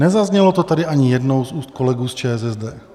Nezaznělo to tady ani jednou z úst kolegů z ČSSD.